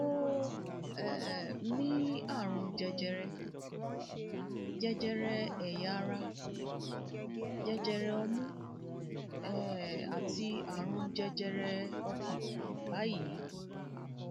ó um ní àrùn jẹjẹrẹ jẹjẹrẹ ẹyà ara jẹjẹrẹ ọmú um àti àrùn jẹjẹrẹ ọkàn báyìí